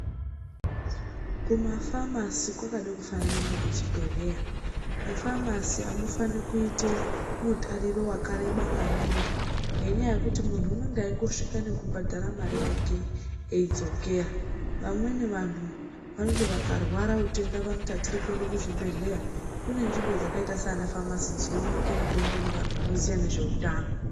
Kuma famasi kwakade kufanana nekuchibhedhleya. Mufamasi amufaniri kuite mutariro wakareba maningi, ngenyaya yekuti munhu unonga eingosvika eibhadhara mare yake eidzokera. Vamweni vanhu vanoti vakarwara utenda vanoti atidi kuenda kuzvibhedhleya. Kune nzvimbo dzakaita saana famasi dzinooneke mutombo nevanhu vanoziya nezve utano.